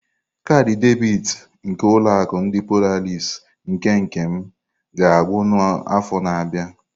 Kaadị debiti nke ulo akụ ndi Polarisii nke Nkem ga-agwụ n'afọ na-abịa.